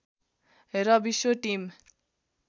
र विश्व टिम